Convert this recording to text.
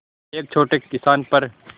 एक छोटे किसान पर